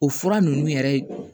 O fura ninnu yɛrɛ